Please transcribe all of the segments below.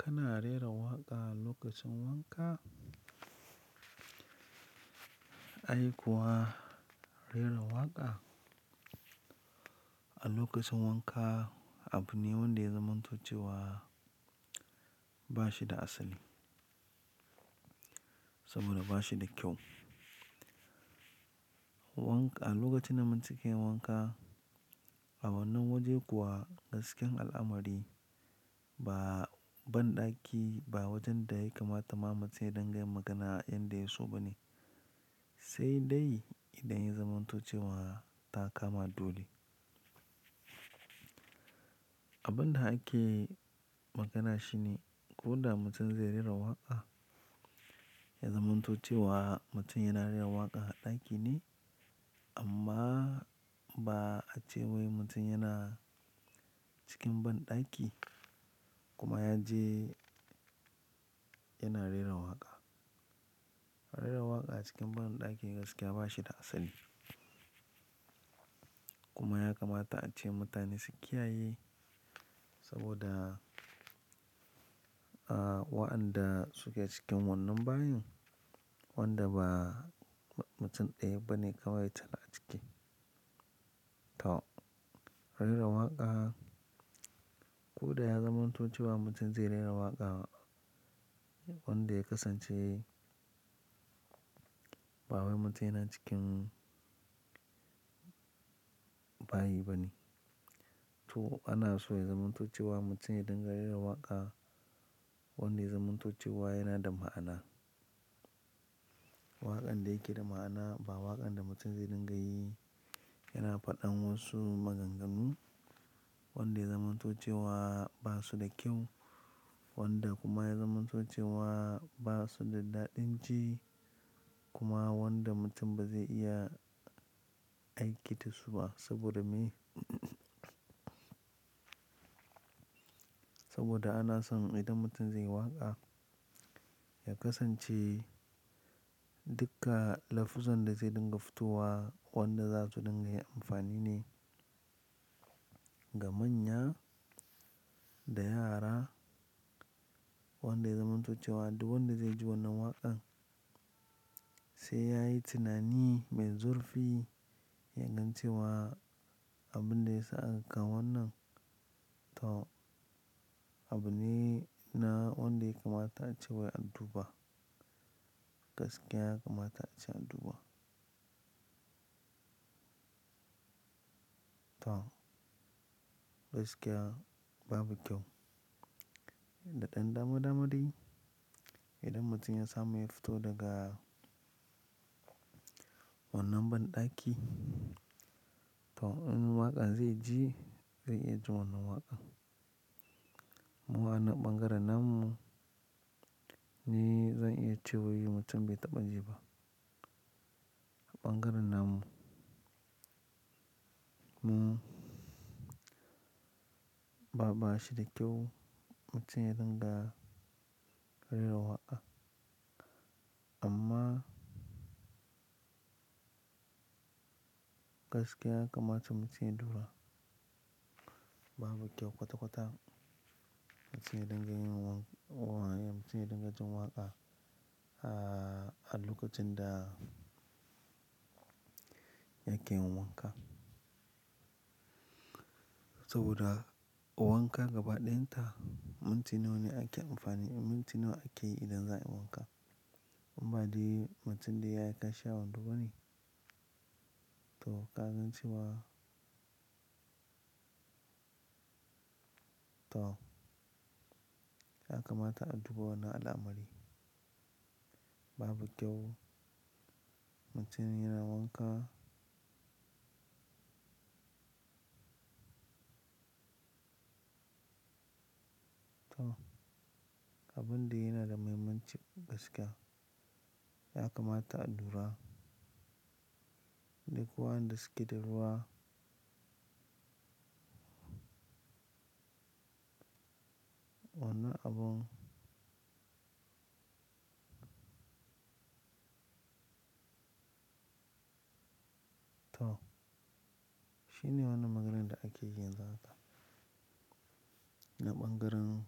Kana rera waƙa a lokacin wanka? Ai kuwa rera waƙa a lokacin wanka abu ne wanda ya zamanto cewa ba shi da asali. Saboda ba shi da kyau. A lokacin da mutum ke yin wanka, a wannan waje kuwa gaskiyan al'amari ba banɗaki ba wajen da ya kamata ma mutum ya dinga yin magana yanda ya so ba ne. Sai dai idan ya zamanto ce wa ta kama dole. Abun da ake magana shi ne ko da mutum zai rera waƙa, ya zamanto ce wa mutum yana rera waƙa a ɗaki ne amma ba a cewai mutum yana cikin banɗaki kuma ya je yana rera waƙa. Rera waƙa a cikin banɗaki gaskiya ba shi da asali. Kuma ya kamata a ce mutane su kiyaye saboda, ah, wa'anɗa suke cikin wannan bayin wanda ba mutum ɗaya ba ne kawai cal a ciki. To, rera waƙa ko da ya zamanto ce wa mutum zai rera waƙa wanda ya kasance ba wai mutum yana cikin bayi ba ne. To, ana so ya zamanto ce wa mutum ya dinga rera waƙa wanda ya zamanto ce wa yana da ma'ana. Waƙan da yake da ma'ana ba waƙan da mutum zai dinga yi yana faɗan wasu maganganu wanda ya zamanto ce wa ba su da kyau wanda kuma ya zamanto ce wa ba su da daɗin ji kuma wanda mutum ba zai iya aiki da su ba. Saboda meye? Saboda ana son idan mutum zai yi waƙa, ya kasance duka lafuzzan da zai dinga futowa wanda za su dinga yi amfani ne ga manya da yara wanda ya zamanto ce wa duk wanda zai ji wannan waƙan sai ya yi tunani mai zurfi yagan cewa abun da ya sa aka kawo wannan. To, abune na wanda ya kamata a ce wai anduba Gaskiya ya kamata a ce anduba. To, gaskiya babu kyau. Da ɗan dama dama dai idan mutum ya samu ya fito daga wannan banɗaki to in waƙan zai ji zai iya ji wannan waƙan. Mu anan ɓangaren namu ni zan iya cewai mutum bai taɓa ji ba. Ɓangaren nan mu ba, ba shi da kyau mutum ya dinga rera waƙa amma gaskiya ya kamata mutum ya duba. Babu kyau kwata kwata mutum ya dinga yin waƙa, ah, mutum ya dinga jin waƙa, ah, a lokacin da yake yin wanka. Saboda wanka gaba ɗayan ta, minti nawa ne ake amfani, minti nawa ake yi idan za a yi wanka. Inba dai mutum dai ya yi kashi a wando bane. To, ka gan cewa, to, ya kamata a duba wannan al'amari. Babu kyau mutum yana wanka. To, abun da yana da mahimmanci gaskiya ya kamata a lura. Duk wa'enda suke da ruwa wannan abun. To, shine wannan maganan da ake yi yanzu haka na ɓangaren,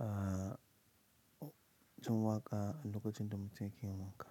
ah, jin waƙa a lokacin da mutum yake yin wanka.